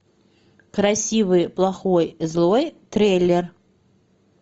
красивый плохой злой трейлер